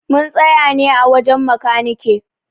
Mun tsaya ne a wajen makanike.